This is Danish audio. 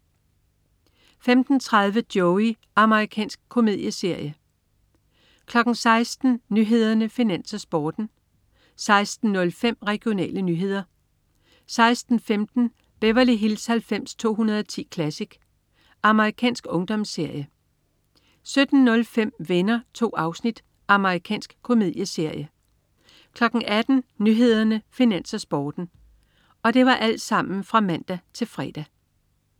15.30 Joey. Amerikansk komedieserie (man-fre) 16.00 Nyhederne, Finans, Sporten (man-fre) 16.05 Regionale nyheder (man-fre) 16.15 Beverly Hills 90210 Classic. Amerikansk ungdomsserie (man-fre) 17.05 Venner. 2 afsnit. Amerikansk komedieserie (man-fre) 18.00 Nyhederne, Finans, Sporten (man-fre)